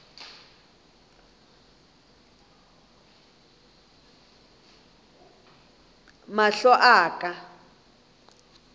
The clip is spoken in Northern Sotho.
mahlo a ka a ka